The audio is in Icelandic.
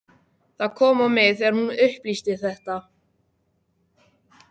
Það kom á mig þegar hún upplýsti þetta.